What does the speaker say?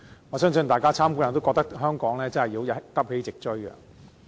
我相信大家參觀後均會認為香港真的要急起直追。